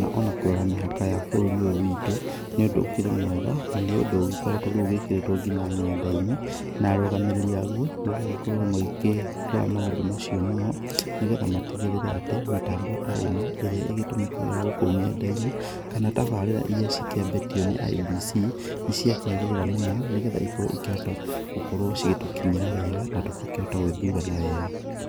na ona kũrora mĩhaka ya bũrũri ũyũ witũ, nĩũndũ ũkĩrĩ mwega, nĩũndũ ũgĩkoretũo rĩu wĩkĩrĩtũo nginya nendainĩ, na arũgamĩrĩri aguo, magagĩkoruo magĩkĩrora maũndũ macio muno, nĩgetha matigĩrĩre atĩ, mĩtambo ta ĩno, ĩrĩa ĩgĩtũmĩkaga gũku nendainĩ, kana tabarĩra iria cikĩambĩtio nĩ IEBC, nĩciakiagĩrĩra mũno, nĩgetha ĩkorũo ĩkĩhota gũkorũo cigĩtũkinyĩra wega, na tũgakĩhota gũgĩthurana wega.